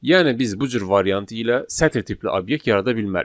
Yəni biz bu cür variant ilə sətr tipli obyekt yarada bilmərik.